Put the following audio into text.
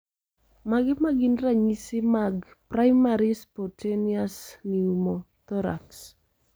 Mage magin ranyisi mag Primary spontaneous pneumothorax